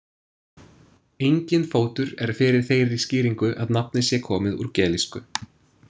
Enginn fótur er fyrir þeirri skýringu að nafnið sé komið úr gelísku.